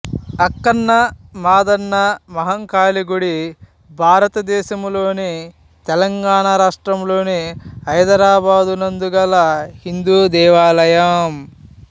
అక్కన్న మాదన్న మహాకాళి గుడి భారతదేశములోని తెలంగాణ రాష్ట్రంలోని హైదరాబాదునందు గల హిందూ దేవాలయం